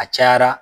A cayara